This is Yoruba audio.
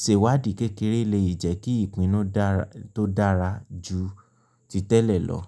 Sèwádìí kékeré lè jẹ́ kí ìpinnu dára tó dára jù ti tẹ́lẹ̀ lọ.